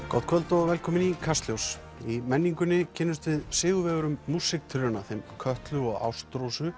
gott kvöld og velkomin í Kastljós í menningunni kynnumst við sigurvegurum músíktilrauna þeim Kötlu og